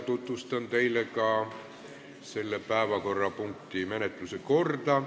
Tutvustan teile ka selle päevakorrapunkti menetluse korda.